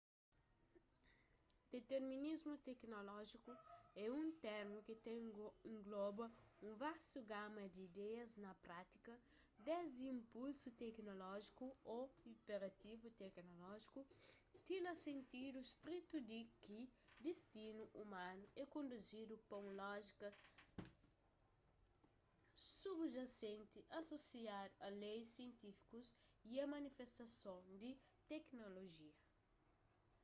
diterminismu teknolójiku é un termu ki ta engloba un vastu gama di ideias na prátika desdi inpulsu teknolójiku ô inperativu teknolójiku ti na sentidu stritu di ki distinu umanu é konduzidu pa un lójika subjasenti asosiadu a leis sientifikus y a manifestason di teknolojia